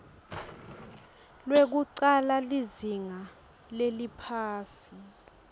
lwekucala lizinga leliphasi